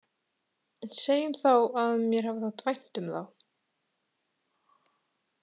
Segjum þá að mér hafi þótt vænt um þá.